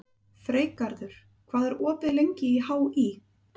Freygarður, hvað er opið lengi í HÍ?